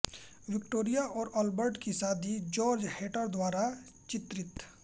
Victoria और Albert की शादी जॉर्ज हैटर द्वारा चित्रित